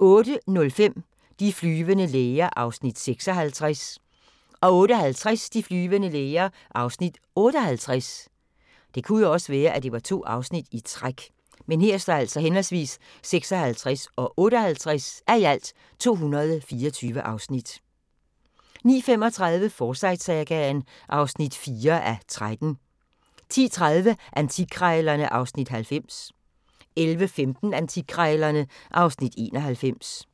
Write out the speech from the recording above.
08:05: De flyvende læger (56:224) 08:50: De flyvende læger (58:224) 09:35: Forsyte-sagaen (4:13) 10:30: Antikkrejlerne (Afs. 90) 11:15: Antikkrejlerne (Afs. 91)